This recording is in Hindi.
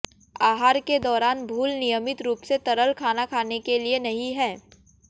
आहार के दौरान भूल नियमित रूप से तरल खाना खाने के लिए नहीं है